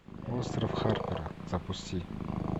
остров харпера запусти